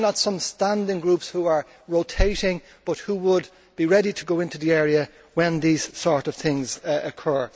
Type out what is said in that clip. Why not some standing groups, on a rotating basis, who would be ready to go into the area when these sort of things occur?